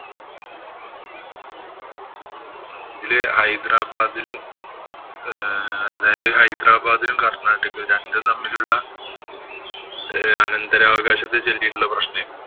ഇതില് ഹൈദരാബാദും ആഹ് അതായത് ഹൈദരാബാദിലും, കര്‍ണ്ണാട്ടിക്കും രണ്ടും തമ്മിലുള്ള അന്തരാവകാശത്തെ ചൊല്ലിയിട്ടുള്ള പ്രശ്നമാണ്.